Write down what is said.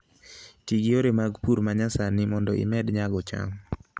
Ti gi yore mag pur ma nyasani mondo imed nyago cham